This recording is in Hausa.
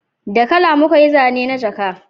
Da kala muka yi zane na jaka